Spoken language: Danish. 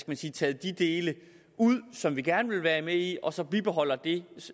man sige taget de dele ud som vi gerne vil være med i og så får bibeholdt det